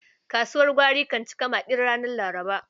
Kasuwar gwari kan cika maƙil ranar Laraba.